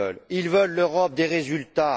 Ils veulent l'Europe des résultats!